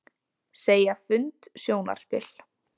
Segja fund sjónarspil